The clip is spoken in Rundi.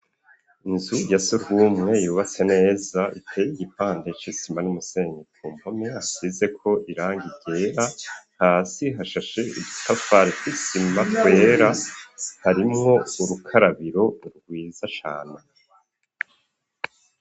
Inzu ya sekumwe yubatse neza iteye igipande c'isima n'umusenyi i kumpome hasizeko irangi ryera hasi hashashe utafari twisima twera harimwo urukarabiro rwiza cana.